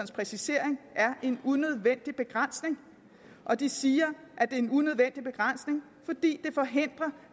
præcisering er en unødvendig begrænsning og de siger at er en unødvendig begrænsning fordi det forhindrer